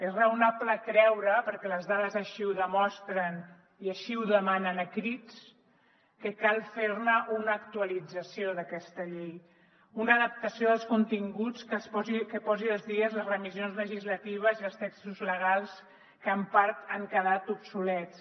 és raonable creure perquè les dades així ho demostren i així ho demanen a crits que cal fer una actualització d’aquesta llei una adaptació dels continguts que posi al dia les remissions legislatives i els textos legals que en part han quedat obsolets